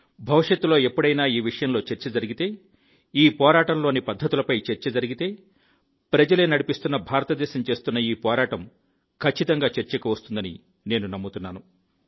భవిష్యత్తులో ఎప్పుడైనా ఈ విషయంలో చర్చ జరిగితే ఈ పోరాటంలో పద్ధతులపై చర్చ జరిగితే ప్రజలే నడిపిస్తోన్న భారతదేశం చేస్తున్న ఈ పోరాటం ఖచ్చితంగా చర్చకు వస్తుందని నేను నమ్ముతున్నాను